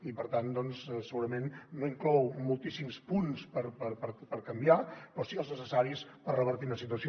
i per tant doncs segurament no inclou moltíssims punts per canviar però sí que els necessaris per revertir una situació